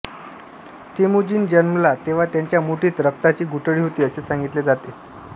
Temujin जन्मला तेव्हा त्याच्या मुठीत रक्ताची गुठळी होती असे सांगितले जाते